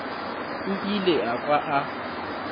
o ile a kwa a